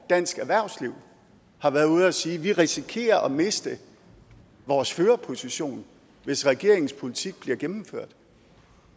dansk erhvervsliv har været ude at sige vi risikerer at miste vores førerposition hvis regeringens politik bliver gennemført